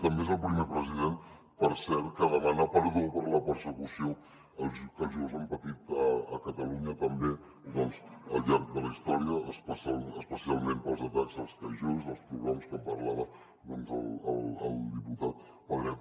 també és el primer president per cert que demana perdó per la persecució que els jueus han patit a catalunya també doncs al llarg de la història especialment pels atacs als calls jueus dels pogroms que en parlava doncs el diputat pedret